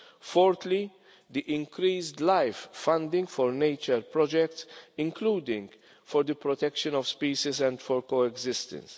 Fourthly, there is the increased LIFE funding for nature projects, including for the protection of species and for coexistence.